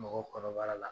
Mɔgɔw kɔnɔbara la